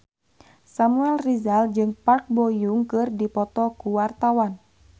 Samuel Rizal jeung Park Bo Yung keur dipoto ku wartawan